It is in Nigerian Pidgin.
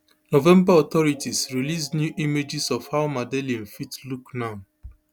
november authorities release new images of how madeleine fit look now